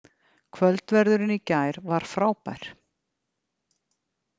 Kvöldverðurinn í gær var frábær